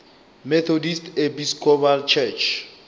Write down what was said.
methodist episcopal church